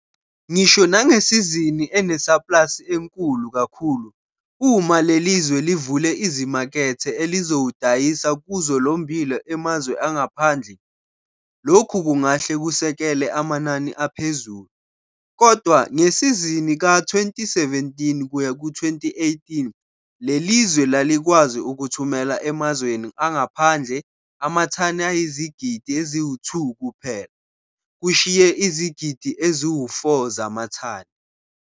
Ngisho nangesizini enesaplasi enkulu kakhulu, uma le lizwe livule izimakethe elizowudayisa kuzo lo mmbila emazwe angaphandle, lokhu kungahle kusekele amanani aphezulu, kodwa ngesizini ka-2017 kuyaku 2018, le lizwe lalikwazi ukuthumela emazweni angaphandle amathani ayizigidi eziwu-2 kuphela, kushiye izigidi ezi-4 zamathani.